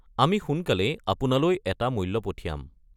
আমি সোনকালেই আপোনালৈ এটা মূল্য পঠিয়াম।